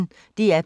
DR P1